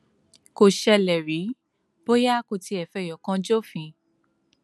kò ṣẹlẹ rí bóyá kò tiẹ fẹyọ kan jófin